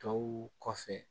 Tɔw kɔfɛ